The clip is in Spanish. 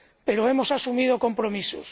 Pero hemos asumido compromisos.